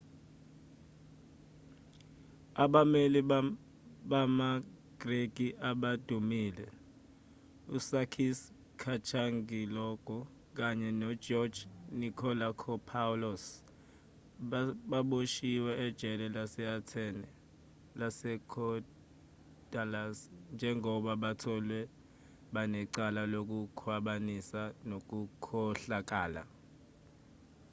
abameli bamagreki abadumile usakis kechagioglou kanye nogeorge nikolakopoulos baboshiwe ejele lase-athene lasekorydallus njengoba batholwe banecala lokukhwabanisa nokukhohlakala